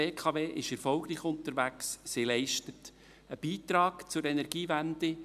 Die BKW ist erfolgreich unterwegs, sie leistet einen Beitrag zur Energiewende.